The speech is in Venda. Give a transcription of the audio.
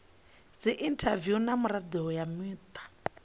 dziinthaviwu na mirado ya muta